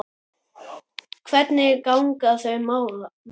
Hvernig ganga þau mál?